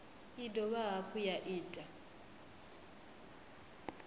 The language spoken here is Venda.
i dovha hafhu ya ita